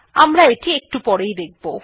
আমরা এটি একটু পরেই দেখব